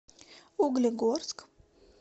углегорск